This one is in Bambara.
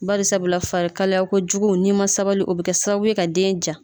Baisabula farikalayakojugu n'i ma sabali o bɛ kɛ sababu ye ka den ja.